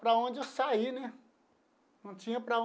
Para onde sair né não tinha para